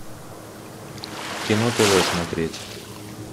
кино тв смотреть